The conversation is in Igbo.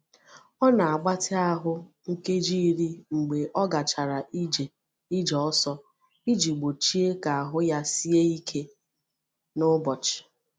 Ọ na-agbatị ahụ nkeji iri mgbe ọ gachara ije ije ọsọ, iji gbochie ka ahụ ya sie ike n’ụbọchị.